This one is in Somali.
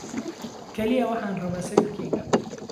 Kaliya waxaan rabaa sawirkayga